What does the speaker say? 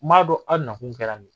N m'a dɔn aw nakun kɛra